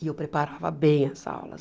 E eu preparava bem as aulas.